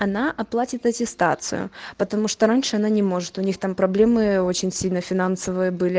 она оплатит аттестацию потому что раньше она не может у них там проблемы очень сильно финансовые были